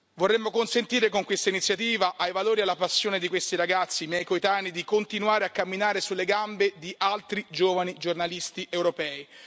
Vorremmo consentire, con questa iniziativa, ai valori e alla passione di questi ragazzi, miei coetanei, di continuare a camminare sulle gambe di altri giovani giornalisti europei.